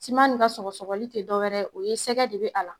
Siman nin ka sɔgɔsɔgɔli tɛ dɔwɛrɛ ye o ye sɛgɛ de bɛ a la.